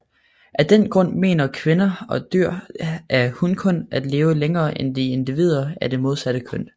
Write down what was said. Af den grund menes kvinder og dyr af hunkøn at leve længere end individer af det modsatte køn